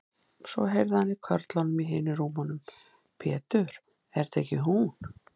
Svo heyrði hann í körlunum í hinum rúmunum: Pétur, er þetta ekki hún.